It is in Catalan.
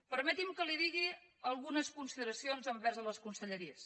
permeti’m que li digui algunes consideracions envers les conselleries